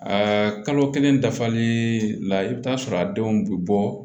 A kalo kelen dafalen la i bɛ t'a sɔrɔ a denw bɛ bɔ